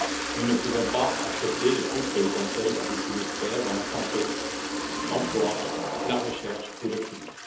Nous ne pouvons pas accepter les coupes que le Conseil a décidé de faire dans la santé, l'emploi, la recherche ou le climat.